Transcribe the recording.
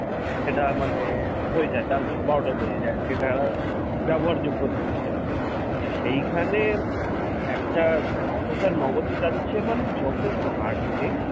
সেটা মানে হয়ে যায় তার বারোটা বেজে যায় সেটা আর ব্যবহারযোগ্য থাকে না। তা সেইখানে একটা processor নয় বছর যাচ্ছে মানে যথেষ্ট hardy তাই না?